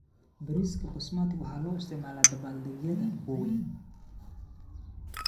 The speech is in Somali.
Bariiska Basmati waxaa loo isticmaalaa dabaaldegyada waaweyn.